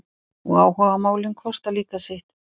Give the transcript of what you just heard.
Og áhugamálin kosta líka sitt.